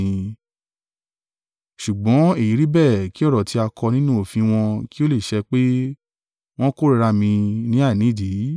Ṣùgbọ́n èyí rí bẹ́ẹ̀ kí ọ̀rọ̀ tí a kọ nínú òfin wọn kí ó lè ṣẹ pé, ‘Wọ́n kórìíra mi ní àìnídìí.’